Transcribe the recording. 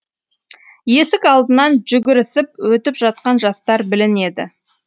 есік алдынан жүгірісіп өтіп жатқан жастар білінеді